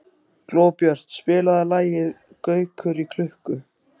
Glóbjört, spilaðu lagið „Gaukur í klukku“.